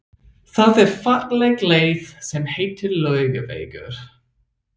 Það er falleg leið sem heitir Laugavegur.